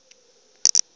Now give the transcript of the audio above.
be o na le yena